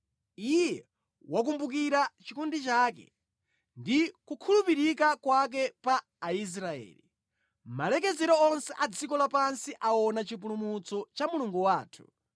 Iye wakumbukira chikondi chake ndi kukhulupirika kwake pa Aisraeli; malekezero onse a dziko lapansi aona chipulumutso cha Mulungu wathu.